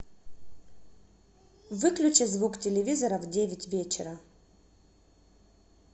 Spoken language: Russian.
выключи звук телевизора в девять вечера